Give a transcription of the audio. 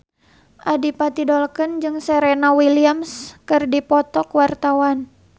Adipati Dolken jeung Serena Williams keur dipoto ku wartawan